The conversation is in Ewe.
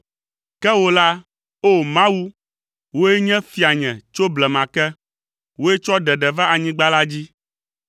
Ke wò la, O Mawu, wòe nye fianye tso blema ke; wòe tsɔ ɖeɖe va anyigba la dzi.